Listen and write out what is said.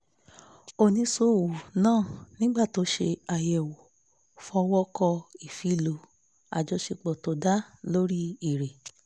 oníṣòwò náà nígbà tó ṣe àyẹ̀wò fọwọ́ kọ ìfilọ́ ajọṣepọ̀ tó dá lórí èrè